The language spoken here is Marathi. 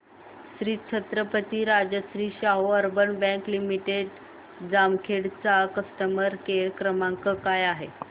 Shri Chhatrapati Rajshri Shahu urban bank limited Jamkhed चा कस्टमर केअर क्रमांक काय आहे